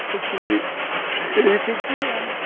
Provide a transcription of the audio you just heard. Ele tinha que ele tinha que se virar, né?